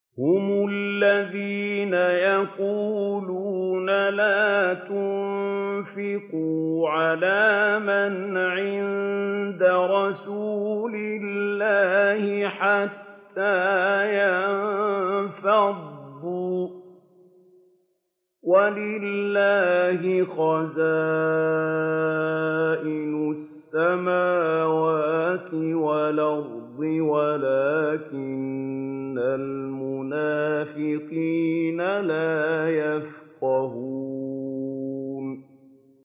هُمُ الَّذِينَ يَقُولُونَ لَا تُنفِقُوا عَلَىٰ مَنْ عِندَ رَسُولِ اللَّهِ حَتَّىٰ يَنفَضُّوا ۗ وَلِلَّهِ خَزَائِنُ السَّمَاوَاتِ وَالْأَرْضِ وَلَٰكِنَّ الْمُنَافِقِينَ لَا يَفْقَهُونَ